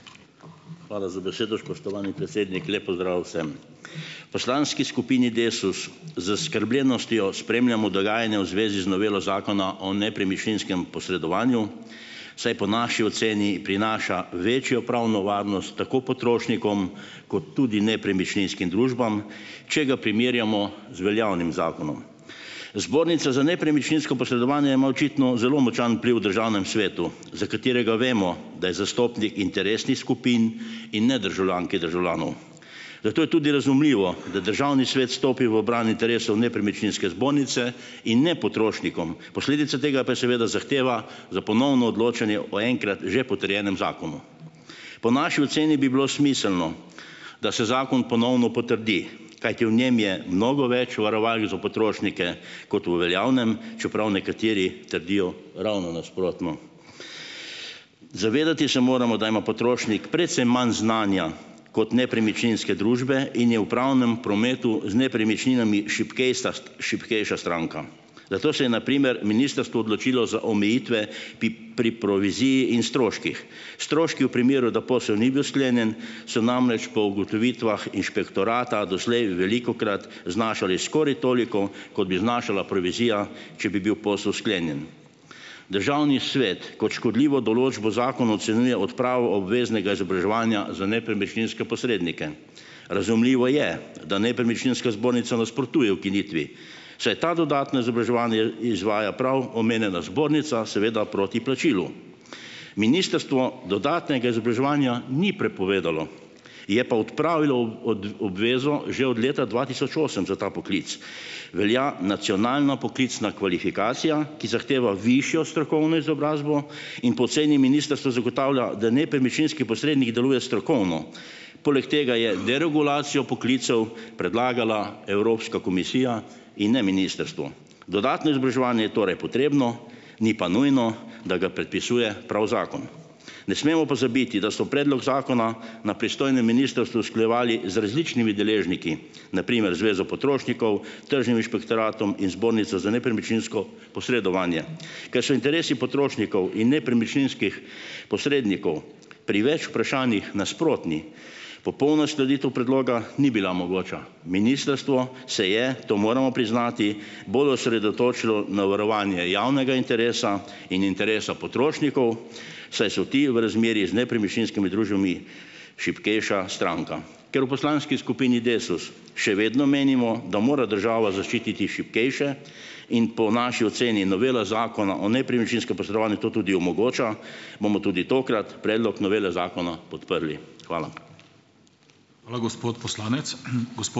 Hvala za besedo. Spoštovani predsednik! Lep pozdrav vsem! V poslanski skupini Desus z zaskrbljenostjo spremljamo dogajanje v zvezi z novelo Zakona o nepremičninskem posredovanju, saj po naši oceni prinaša večjo pravno varnost tako potrošnikom kot tudi nepremičninskim družbam, če ga primerjamo z veljavnim zakonom. Zbornica za nepremičninsko posredovanje ima očitno zelo močan vpliv v Državnem svetu, za katerega vemo, da je zastopnik interesnih skupin in ne državljank in državljanov. Zato je tudi razumljivo, da Državni svet stopi v bran interesov nepremičninske zbornice in ne potrošnikom. Posledica tega pa je seveda zahteva za ponovno odločanje o enkrat že potrjenem zakonu. Po naši oceni bi bilo smiselno, da se zakon ponovno potrdi, kajti v njem je mnogo več varovalk za potrošnike kot v veljavnem, čeprav nekateri trdijo ravno nasprotno. Se moramo zavedati, da ima potrošnik precej manj znanja kot nepremičninske družbe in je v pravnem prometu z nepremičninami šibkejsa šibkejša stranka, zato se je na primer ministrstvo odločilo za omejitve pri proviziji in stroških. Stroški v primeru, da posel ni bil sklenjen, so namreč po ugotovitvah inšpektorata doslej velikokrat znašali skoraj toliko kot bi znašala provizija, če bi bil posel sklenjen. Državni svet kot škodljivo določbo zakona ocenjuje odpravo obveznega izobraževanja za nepremičninske posrednike. Razumljivo je, da nepremičninska zbornica nasprotuje ukinitvi, saj to dodatno izobraževanje izvaja prav omenjena zbornica seveda proti plačilu. Ministrstvo dodatnega izobraževanja ni prepovedalo, je pa odpravilo obvezo že od leta dva tisoč osem za ta poklic. Velja nacionalna poklicna kvalifikacija, ki zahteva višjo strokovno izobrazbo in po oceni ministrstva zagotavlja, da nepremičninski posrednik deluje strokovno. Poleg tega je deregulacijo poklicev predlagala Evropska komisija in ne ministrstvo. Dodatno izobraževanje je torej potrebno, ni pa nujno, da ga predpisuje prav zakon. Ne smemo pozabiti, da so predlog zakona na pristojnem ministrstvu usklajevali z različnimi deležniki, na primer Zvezo potrošnikov, tržnim inšpektoratom in zbornico za nepremičninsko posredovanje. Ker so interesi potrošnikov in nepremičninskih posrednikov pri več vprašanjih nasprotni, popolna uskladitev predloga ni bila mogoča. Ministrstvo se je, to moramo priznati, bolj osredotočilo na varovanje javnega interesa in interesa potrošnikov, saj so ti v razmerjih z nepremičninskimi družbami šibkejša stranka. Ker v poslanski skupini Desus še vedno menimo, da mora država zaščititi šibkejše, in po naši oceni novela Zakona o nepremičninskem posredovanju to tudi omogoča, bomo tudi tokrat predlog novele zakona podprli. Hvala.